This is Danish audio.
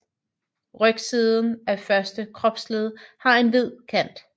Rygsiden af første kropsled har en hvid kant